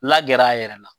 La gɛr'a yɛrɛ la